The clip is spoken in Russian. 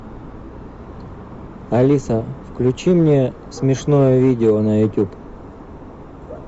алиса включи мне смешное видео на ютуб